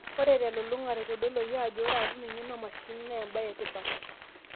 Ore telulung'ata eitodoluaki aajo ore aatum eng'eno oomshinini, na embe etipat.